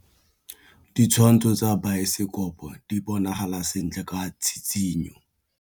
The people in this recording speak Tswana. Ditshwantshô tsa biosekopo di bonagala sentle ka tshitshinyô.